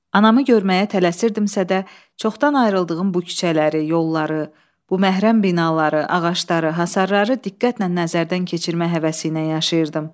Anamı görməyə tələsirdimsə də, çoxdan ayrıldığım bu küçələri, yolları, bu məhrəm binaları, ağacları, hasarları diqqətlə nəzərdən keçirmək həvəsi ilə yaşayırdım.